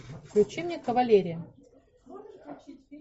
включи мне кавалерия